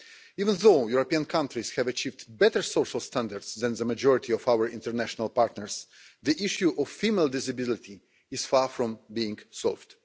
Even though European countries have achieved better social standards than the majority of our international partners, the issue of female disability is far from being solved.